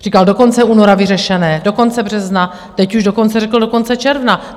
Říkal: do konce února vyřešené, do konce března, teď už dokonce řekl do konce června.